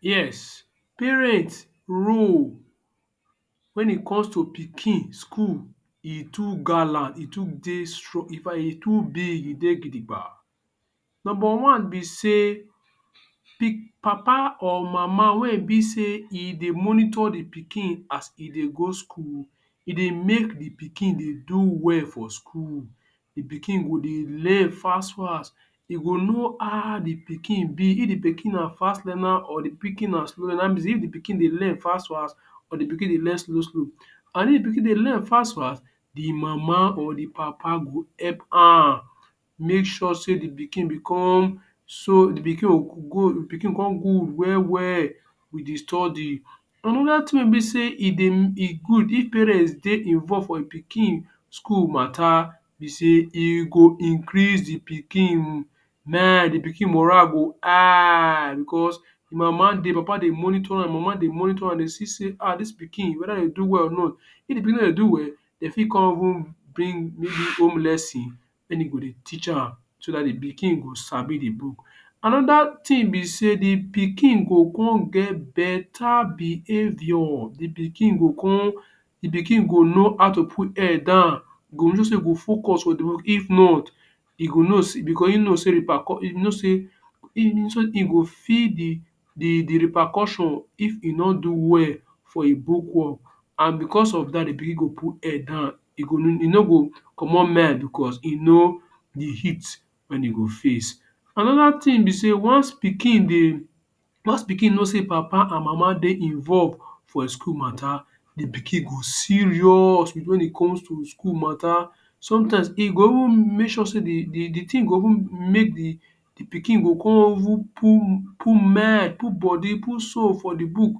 Yes, parent role wen e comes to pikin school e too gallant, e too dey strong. In fact, e too big, e dey gidigba. Nomba one be sey papa or mama wey e be sey e dey monitor the pikin as e dey go school, e dey make the pikin dey do well for school. The pikin go dey learn fas-fas. E go know how the pikin be – if the pikin na fas learner or the pikin na slow learner. Naim be sey if the pikin dey learn fas-fas or the pikin dey learn slow-slow. An if pikin dey learn fas-fas, the mama or the papa go help am make sure sey the pikin become so the pikin pikin go con good well-well with the study. Another tin wey be sey e dey e good if parents dey involve for um pikin school matter be sey e go increase the pikin the pikin morale go high becos mama dey [um]papa dey monitor am, mama dey monitor am, de see sey ah dis pikin whether de do well or not. If the pikin no dey do well, de fit con even bring maybe home lesson wen e go dey teach am so dat the pikin go sabi the book. Another tin be sey the pikin go con get beta behaviour. The pikin go con, the pikin go know how to put head down, go know sey e go focus on the book. If not, e go know becos ein know sey you know sey e go feel the the the repercussion if e no do well for um book work. An becos of dat, the pikin go put head down. E go e no go comot mind becos e no the heat wen e go face. Another tin be sey once pikin dey, once pikin know sey papa an mama dey involve for um school matter, the pikin go serious with wen e comes to school matter. Sometimes, e go even make sure sey the the the tin go even make the the pikin go con even put put mind, put body, put soul for the book.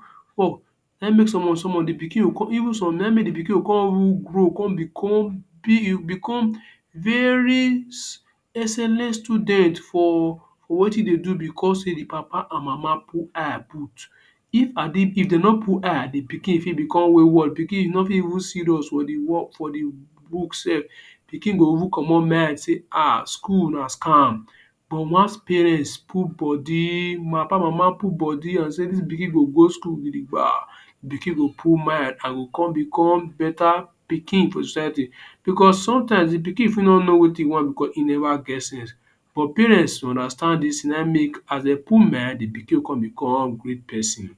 Na um make some some of the pikin go con even some na um make de pikin go con grow con become become very excellent student for for wetin e dey do becos sey the papa an mama put eye put. If had it if de no put eye the pikin fit become wayward, pikin no fit even serious for the work, for the book sef. Pikin go even comot mind sey um School na scam. But wance parents put body mapa mama put body an say dis pikin go go school gidigba, the pikin go put mind an go con become beta pikin for the society. Becos sometimes, the pikin fit no know wetin e want becos e neva get sense, but parents will understand dis, na um make as de put mind, the pikin go con become great peson.